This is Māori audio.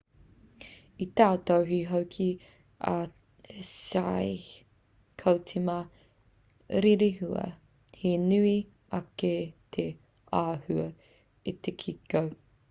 i tautohe hoki a hsieh ko te ma rerehua he nui ake te āhua i te kiko